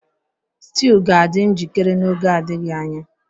Stew ga-adị njikere n'oge adịghị anya